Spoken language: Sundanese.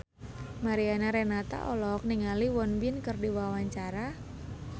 Mariana Renata olohok ningali Won Bin keur diwawancara